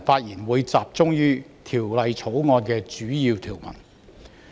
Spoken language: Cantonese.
我會集中討論《條例草案》的主要條文。